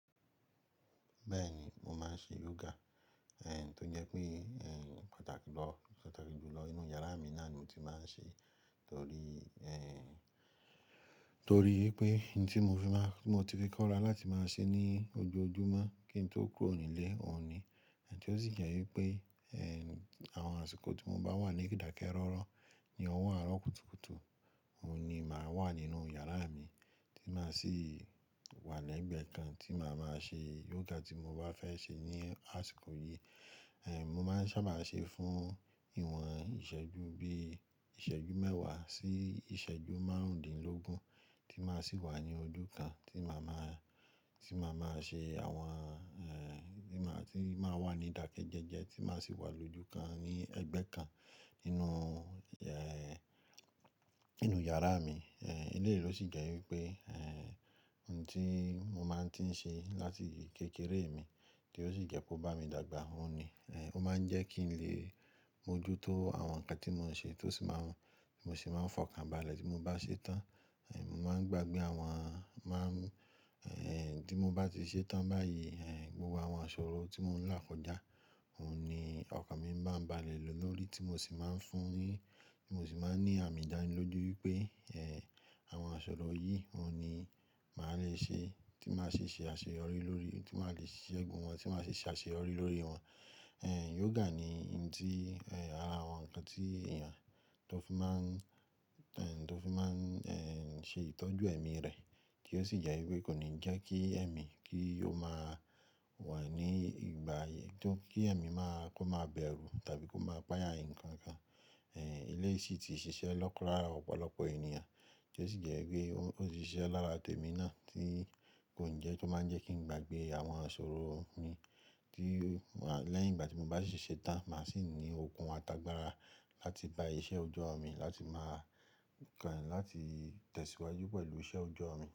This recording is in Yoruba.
Bẹ́ẹ̀ni, mo máa ń ṣe yoga, tó jẹ́ pé pàtàkì jù lọ nínú yàrá mi náà ni mo ti máa ń ṣe, torí wipé ohun tí mo ti fi kóra láti máa ṣe ní ojoojúmọ́ kí n tó kúrò nílé òun ni. Àbí tó sì jẹ́ wípé àwọn àsìkò tí mo bá wà ní idakẹ́ rọ́rọ́ ní ọwọ àárọ̀ kùtùkùtù, òun ni màá wà nínú yàrá mi tí màá sì wà lẹ́gbẹ̀ẹ́ kan tí màá máa ṣe yoga tí mo bá fẹ́ ṣe ní àsìkò yìí. Mo máa ń sábà ṣe fún ìwọ̀n ìṣẹ́jú bí ìṣẹ́jú mẹ́wàá sí ìṣẹ́jú márùndínlógún tí màá sì wà ní ojú kan tí màá máa ṣe àwọn, tí màá wà ní ìdákẹ́ jẹ́jẹ́ tí màá sì wà lójú kan ní ẹgbẹ́ kan nínú yàrá mi. Elèyí ló sì jẹ́ wípé ohun tí mo máa ń ti ṣe láti kékeré mi, tí ó sì jẹ́ pé ó bá mi dàgbà òun ni. Ó máa ń jẹ́ kí n lè mójú tó àwọn nǹkan tí mò ń ṣe tó sì máa ń, mo sì máa ń fọkàn balẹ̀ tí mo bá ṣe tán. Mo máa ń gbàgbé àwọn tí mo bá ti ṣe tán báyìí, gbogbo àwọn àṣoro tí mò ń lákòjá òun ni ọkàn mi máa ń balẹ̀ lòó lórí tí mo sì máa ń fún un, tí mo sì máa ń ní àmì ìdánilójú wípé àwọn àṣoro yìí òun ni màá le ṣe tí màá ṣe ṣe àṣeyọrí lórí, tí màá le ṣẹ gun wọn, tí màá ṣe àṣeyọrí lórí wọn. Yoga ni ohun tí ara àwọn nǹkan tí èèyàn tó fi máa ń ṣe ìtọ́jú ẹ̀mí rẹ̀ kí ó sì jẹ́ wípé kò ní jẹ́ kí ẹ̀mí kí ó máa wà ní ìgbà tó, kí ẹ̀mí kó má bẹ̀rù tàbí kó máa pàáyà nǹkan kan. Ilé yìí sì ti ṣiṣẹ́ lọ́kùnra ọ̀pọ̀lọpọ̀ ènìyàn tí ó sì jẹ́ wípé ó ti ṣiṣẹ́ lára tèmi náà tí kò ń jẹ́ kó máa ń jẹ́ kí n gbàgbé àwọn àṣoro mi tí lẹ́yìn ìgbà tí mo bá ṣì ṣe tán, màá sì ní okun àtàgbàra láti bá iṣẹ́ ojọ mi láti máa kàn láti tẹ̀síwájú pẹ̀lú iṣẹ́ ọjọ́ mi.